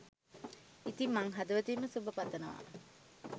ඉතින් මං හදවතින්ම සුබ පතනවා